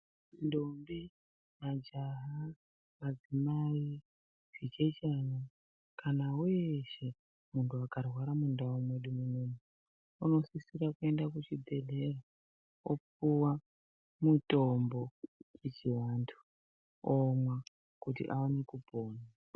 Ndombi ,majaha madzimai zvichechana kana weshe munhu akarwara mundau medu munoumu unosisira kuenda kuchibhehleya opuwa mutombo wechiantu omwa kuti aone kupona.